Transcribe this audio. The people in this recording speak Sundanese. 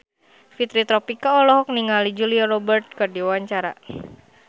Fitri Tropika olohok ningali Julia Robert keur diwawancara